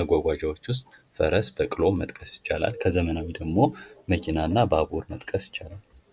መጓጓዣዎች ውስጥ ፈረስ ፣በቅሎ መጥቀስ ይቻላል ። ከዘመናዊ ደግሞ መኪና ፣ባቡርን መጥቀስ ይቻላል ።